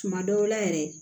Tuma dɔw la yɛrɛ